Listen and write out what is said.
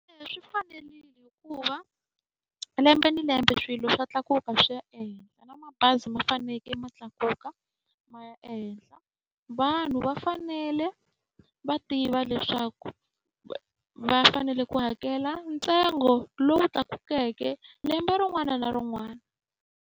Eya swi fanerile hikuva lembe ni lembe swilo swa tlakuka swi ya ehenhla, na mabazi ma fanekele ma tlakuka ma ya ehenhla. Vanhu va fanele va tiva leswaku va fanele ku hakela ntsengo lowu tlakukeke lembe rin'wana na rin'wana.